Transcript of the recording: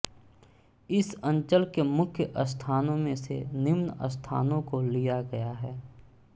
इस अंचल के मुख्य स्थानों में से निम्न स्थानोँ को लिया गया है